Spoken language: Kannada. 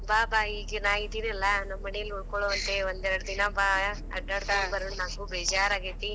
ಬಾ ಬಾ ಈಗ ನಾ ಇದಿನಲಾ ನಮ್ಮ ಮನೇಲಿ ಉಳಕೋಳುಂತೆ ಒಂದ್ ಎರಡ್ ದಿನಾ ಬಾ, ಅಡ್ಯಾಡಕೊಂಡ ಬರುನ್. ನನಗೂ ಬೇಜಾರ ಆಗೇತಿ.